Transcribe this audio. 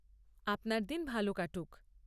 আপনার দিন ভালো কাটুক।